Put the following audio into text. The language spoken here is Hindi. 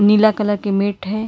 पीला कलर के मैट है।